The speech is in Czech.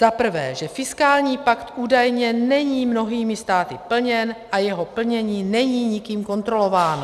Za prvé, že fiskální pakt údajně není mnohými státy plněn a jeho plnění není nikým kontrolováno.